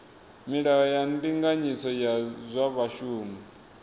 milayo ya ndinganyiso ya zwa vhashumi